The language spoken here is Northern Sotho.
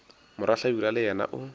morwa hlabirwa le yena o